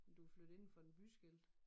Men du er flyttet indenfor en byskilt